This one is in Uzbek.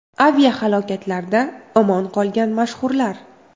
Aviahalokatlarda omon qolgan mashhurlar.